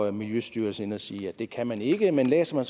er miljøstyrelsen inde at sige at det kan man ikke men læser man